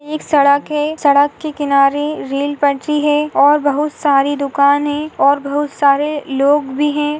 एक सड़क है सड़क के किनारे रील पंछी है और बहुत सारी दुकान है और बहुत सारे लोग भी है।